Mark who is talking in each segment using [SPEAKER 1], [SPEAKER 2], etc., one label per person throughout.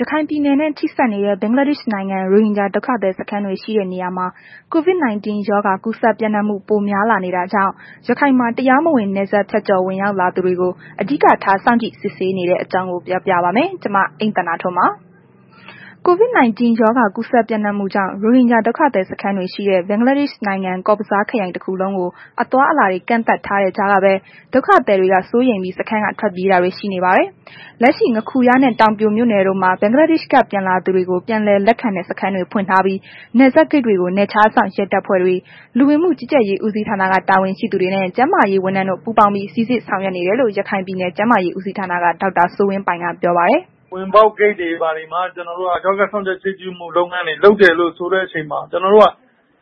[SPEAKER 1] ရခိုင်ပြည်နယ်နဲ့ ထိစပ်နေတဲ့ ဘင်္ဂလားဒေ့ရ်ှနိုင်ငံနဲ့ ရိုဟင်ဂျာ ဒုက္ခသည်စခန်းတွေ ရှိတဲ့နေရာမှာ COVID-19 ရောဂါ ကူးစက်ပျံ့နှံ့မှု ပိုများလာနေတာကြောင့် ရခိုင်မှာ တရားမဝင် နယ်စပ်ဖြတ်ကျော်ဝင်ရောက် လာတဲ့သူတွေကို အဓိကထား စောင့်ကြည့်စစ်ဆေးနေတဲ့အကြောင်းကို ဗွီအိုအေမြန်မာပိုင်းသတင်းထောက် မအိမ့်သန္တာထွန်းက ပြောပြပေးပါမယ်။ COVID -19 ရောဂါကူးစက် ပျံ့နှံ့မှုကြောင့် ရိုဟင်ဂျာဒုက္ခသည်စခန်းတွေရှိတဲ့ ဘင်္ဂလားဒေ့ရ်ှနိုင်ငံ ကောဇ်ဘဇားခရိုင်တခုလုံးကို အသွားအလာတွေ ကန့်သတ်ထားတဲ့ကြားကပဲ၊ ဒုက္ခသည်တွေက စိုးရိမ်ပြီး စခန်းက ထွက်ပြေးတာတွေ ရှိနေပါတယ်။ လက်ရှိ ငါးခူရနှင့် တောင်ပြိုမြို့နယ်တို့မှာ ဘင်္ဂလားဒေ့ရှ်က ပြန်လာတဲ့သူတွေကို ပြန်လည်လက်ခံတဲ့ စခန်းတွေ ဖွင့်ထားပြီး နယ်စပ်ဂိတ်တွေကို နယ်ခြားစောင့် ရဲတပ်ဖွဲ့တွေ၊ လူဝင်မှုကြီးကြပ်ရေး ဦးစီးဌာနက တာဝန်ရှိသူတွေနှင့် ကျန်းမာရေးဝန်ထမ်းတို့ ပူးပေါင်းပြီး စိစစ်ဆောင်ရွက်နေတယ်လို့ ရခိုင်ပြည်နယ် ကျန်းမာရေးဦးစီးဌာနက ဒေါက်တာ စိုးဝင်းပိုင်က ပြောပါတယ်။
[SPEAKER 2] “ဝင်ပေါက်ဂိတ်တွေမှာ ကျနော်တို့က အမြဲတမ်းစောင့်ကြပ်ကြည့်ရှုမှု လုပ်ငန်းတွေ လုပ်တယ်လို့ ဆိုတဲ့ အချိန်မှာ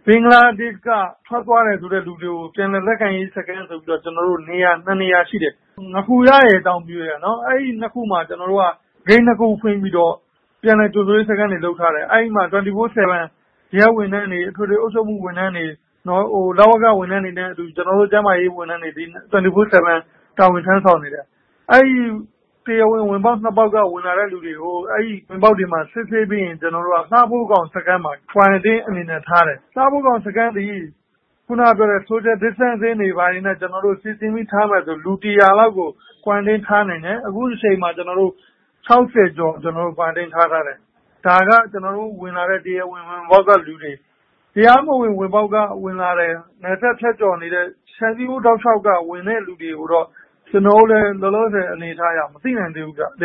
[SPEAKER 2] ဘင်္ဂလားဒေ့ရှ်က ထွက်သွားတယ်ဆိုတဲ့ လူတွေကို ပြန်လည်လက်ခံတဲ့ စခန်းဆိုပြီးတော့ နေရာ ၂ နေရာ ရှိတယ်။ ငါးခူရရယ် တောင်ပြိုရယ် အဲ့နှစ်ခုမှာ ကျနော်တို့က ဂိတ်နှစ်ခုဖွင့်ပြီးတော့ ပြန်လည်ကြိုဆိုရေးလုပ်ငန်းတွေ လုပ်ထားတယ်။ အဲ့ဒီမှာ ၂၄ နာရီ၊ ၇ ရက် ရဲဝန်ထမ်းတွေ အထွေထွေအုပ်ချုပ်မှု ဝန်ထမ်းတွေ၊ လဝက ဝန်ထမ်းတွေနဲ့အတူ ကျနော်တို့ ကျန်းမာရေး ဝန်ထမ်တွေ တာဝန်ထမ်းဆောင်နေတယ်။ အဲ့ဒီ တရားဝင်ဝင်ပေါက်က ဝင်လာတဲ့ သူတွေကို အဲ့ဒီဝင်ပေါက်တွေမှာ စစ်ဆေးပြီးရင် လှဖိုးခေါင်စခန်းမှာ Quarantine အနေနဲ့ထားတယ်။ လှဖိုးခေါင်စခန်းသည် Social Distancing တွေဘာတွေနဲ့ စီစဉ်ပြီးထားမယ်ဆိုရင်ကို လူ ၁၀၀ လောက်ကို Quarantine ထားနိုင်တယ်။ ခုအချိန်မှာ ကျွန်တော်တို့ ၆၀ ကျော် Quarantine ထားထားတယ်။ ဒါက တရားဝင်ဝင်ပေါက်က ဝင်လာတဲ့သူတွေ။ တရားမဝင်ဝင်ပေါက်က ဝင်လာတယ်။ နယ်စပ်ဖြတ်ကျော်နေတဲ့ ခြံစည်းရိုးတောက်လျှောက်က ဝင်လာတဲ့သူတွေကိုတော့ ကျနော်တို့လည်း လောလောဆယ် အနေအထားအရ မသိနိုင်သေးဘူးဗျ။
[SPEAKER 1] ”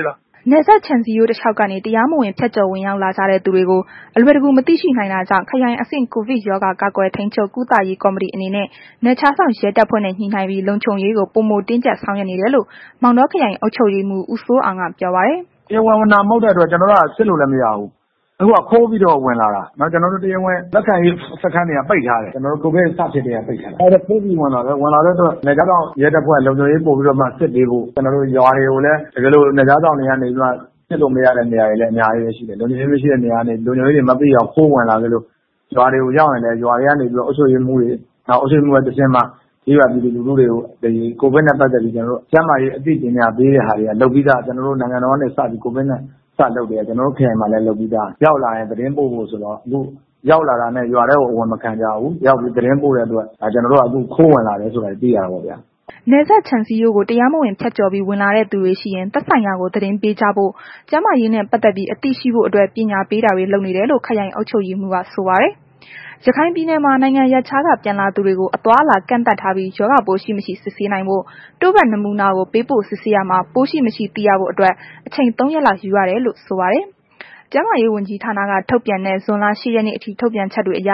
[SPEAKER 1] နယ်စပ်ခြံစည်းရိုးတလျှောက်ကနေ တရားမဝင် ဖြတ်ကျော်ဝင်ရောက်လာကြတဲ့ သူတွေကို အလွယ် တကူမသိရှိနိုင်တာကြောင့် ခရိုင်အဆင့် ကိုဗစ်ရောဂါ ကာကွယ် ထိန်းချုပ် ကုသရေး ကော်မတီအနေနဲ့ နယ်ခြားစောင့်ရဲတပ်ဖွဲ့နဲ့ ညှိနှိုင်းပြီး လုံခြုံရေးကို ပိုမိုတင်းကြပ်ဆောင်ရွက်ဆောင်နေတယ်လို့ မောင်တော ခရိုင်အုပ်ချုပ်ရေးမှူး ဦးစိုးအောင်က ပြောပါတယ်။
[SPEAKER 3] “တရားဝင်ဝင်တာ မဟုတ်တဲ့အတွက် စစ်လို့လည်းမရဘူး။ အခုက ခိုးပြီးတော့ ဝင်လာတာ ကျနော်တို့က တရားဝင် လက်ခံရေးစခန်းတွေကလည်း ကိုဗစ် စဖြစ်ကတည်းက ပိတ်ထားတာ ခိုးပြီးတော့ ဝင်လာတာဖြစ်တဲ့အတွက် နယ်ခြားစောင့်ရဲတပ်ဖွဲက လုံခြုံရေးပိုပြီးတော့မှ စစ်ပေးဖို့ တကယ်လို့ ရွာတွေကိုလည်း နယ်ခြားစောင့်တွေက နေပြီးမှ စစ်လို့မရတဲ့ နေရာတွေလည်း အများကြီးပဲ ရှိတယ်။ လုံခြုံရေး မရှိတဲ့နေရာကနေ လုံခြုံရေးတွေမသိအောင် ခိုးဝင်လာပြီးတော့ ရွာတွေကလည်း ရွာတွေကနေပြီးတော့ အုပ်ချုပ်ရေးမှူးတွေ နောက်အုပ်ချုုပ်ရေးမှူးကတဆင့်မှာ ကျေးရွာပြည်သူလူထုတွေကို ကိုဗစ်နဲ့ ပတ်သက်ပြီး ကျန်းမာရေး အသိပညာပေးတာတွေက လုပ်ပြီးသား နိုင်ငံတော်က ကိုဗစ်နဲ့ ပတ်သက်ပြီးစလုပ်ကတည်းက ကျနော်တို့ ခရိုင်မှာလည်း လုပ်ပြီးသား။ အဲ့တော့ ရောက်လာရင် သတင်းပို့ဖို့ဆိုပြီးတော့ အခု ရောက်လာတာနဲ့ ရွာထဲကို အဝင်မခံကြဘူး။ ရောက်ရင် သတင်းပို့တဲ့အတွက် အခု ကျနော်တို့က ခိုးဝင်လာတယ်ဆိုတာတွေကို သိရတာပေါ့ဗျာ။
[SPEAKER 1] ” နယ်စပ်ခြံစည်းရိုးကို တရားမဝင် ဖြတ်ကျော်ပြီး ဝင်လာတဲ့သူတွေရှိရင် သက်ဆိုင်ရာကို သတင်းပေးကြဖို့ ကျန်းမာရေးနှင့် ပတ်သက်ပြီး အသိရှိဖို့အတွက် ပညာပေးတာတွေ လုပ်နေတယ်လို့ ခရိုင်အုပ်ချုပ်ရေးမှူးက ဆိုပါတယ်။ ရခိုင်ပြည်နယ်မှာ နိုင်ငံရပ်ခြားက ပြန်လာသူတွေကို အသွားအလာ ကန့်သတ်ထားပြီး ရောဂါပိုးရှိမရှိ စစ်ဆေးနိုင်ဖို့ တို့ဖတ် နမူနာကို ပေးပို့စစ်ဆေးရာမှာ ပိုးရှိမရှိ သိရဖို့အတွက် အချိန် ၃ ရက်လောက်ယူရ တယ်လို့ဆိုပါတယ်။ ကျန်းမာရေးဝန်ကြီးဌာနက ထုတ်ပြန်တဲ့ ဇွန်လ ၈ ရက်နေ့အထိ ထုတ်ပြန်ချက်တွေအရ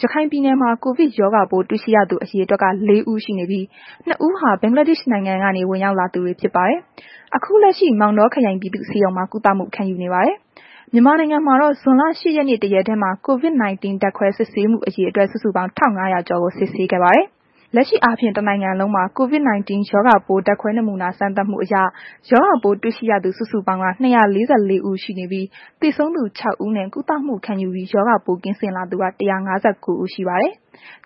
[SPEAKER 1] ရခိုင်ပြည်နယ် မှာ ကိုဗစ် ရောဂါပိုး တွေ့ရှိရသူ အရေအတွက်က ၄ ဦးရှိနေပြီး ၂ ဦးဟာ ဘင်္ဂလားဒေ့ရှ်နိုင်ငံကနေ ဝင်ရောက်လာသူတွေဖြစ်ပါတယ်။ အခုလက်ရှိ မောင်တောခရိုင် ပြည်သူဆေးရုံမှာ ကုသမှု ခံယူနေပါတယ်။ မြန်မာနိုင်ငံမှာတော့ ဇွန်လ ၈ ရက်နေ့ တစ်ရက်တည်းမှာ COVID - 19 ဓာတ်ခွဲစစ်ဆေးမှု အရေတွက် စုစုပေါင်း ၁,၅၀၀ ကျော်ကိုစစ်ဆေးခဲ့ပါတယ်။ လက်ရှိအားဖြင့် တနိုင်ငံလုံးမှာ COVID - 19 ရောဂါပိုးဓါတ်ခွဲနမူနာ စမ်းသပ်မှု တွေ့ရှိရသူ စုစုပေါင်းက ၂၄၄ ဦး ရှိနေပြီး၊ သေဆုံးသူ ၆ ဦးနဲ့ ကုသမှု ခံယူပြီး ရောဂါပိုးကင်းစင်လာသူက ၁၅၉ ဦး ရှိပါတယ်။